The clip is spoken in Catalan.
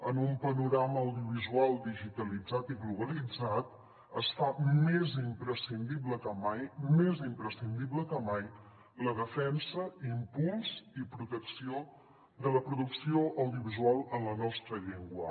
en un panorama audiovisual digitalitzat i globalitzat es fa més imprescindible que mai més imprescindible que mai la defensa impuls i protecció de la producció audiovisual en la nostra llengua